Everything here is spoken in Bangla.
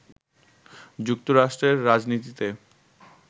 যুক্তরাষ্ট্রের রাজনীতিতে